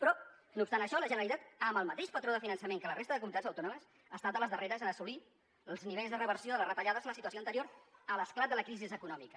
però no obstant això la generalitat amb el mateix patró de finançament que la resta de comunitats autònomes ha estat de les darreres en assolir els nivells de reversió de les retallades a la situació anterior a l’esclat de la crisi econòmica